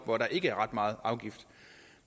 hvor der ikke er ret meget afgift